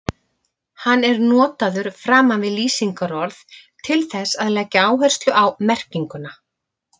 Hann er notaður framan við lýsingarorð til þess að leggja áherslu á merkinguna.